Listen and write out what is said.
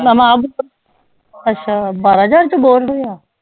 ਨਵਾਂ ਅੱਛਾ ਬਾਰਾਂ ਹਜ਼ਾਰ ਚ ਬੋਰ ਹੋਇਆ